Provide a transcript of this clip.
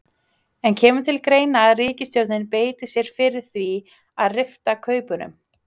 En kemur til greina að ríkisstjórnin beiti sér fyrir því að rifta kaupunum?